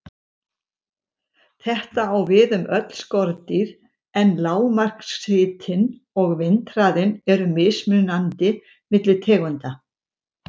Þetta á við um öll skordýr, en lágmarkshitinn og vindhraðinn eru mismunandi milli tegunda.